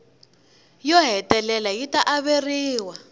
yo hetelela yi ta averiwa